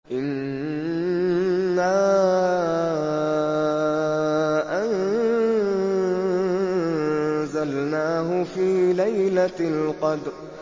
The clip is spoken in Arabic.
إِنَّا أَنزَلْنَاهُ فِي لَيْلَةِ الْقَدْرِ